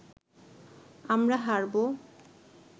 আমরা হারবো